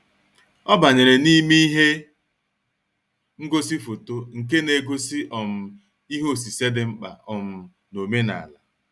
Ọ banyere n'ime ihe ngosi foto nke na-egosi um ihe osise dị mkpa um na-omenala.